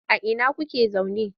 A ina kuke zaune?